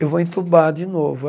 Eu vou entubar de novo.